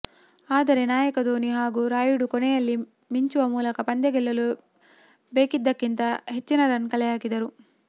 ಆದರೆ ನಾಯಕ ಧೋನಿ ಹಾಗೂ ರಾಯುಡು ಕೊನೆಯಲ್ಲಿ ಮಿಂಚುವ ಮೂಲಕ ಪಂದ್ಯ ಗೆಲ್ಲಲು ಬೇಕಿದ್ದಕ್ಕಿಂತ ಹಚ್ಚಿನ ರನ್ ಕಲೆ ಹಾಕಿದರು